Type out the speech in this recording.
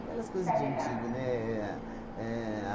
Aquelas coisas de antigo, né? Éh